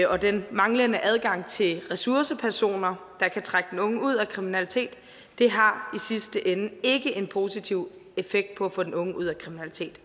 og den manglende adgang til ressourcepersoner der kan trække den unge ud af kriminalitet har i sidste ende ikke en positiv effekt på at få den unge ud af kriminalitet